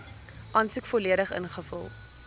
aansoek volledig ingevul